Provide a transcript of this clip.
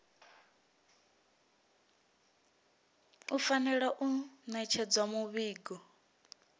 u fanela u ṋetshedza muvhigo